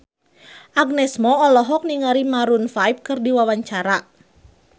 Agnes Mo olohok ningali Maroon 5 keur diwawancara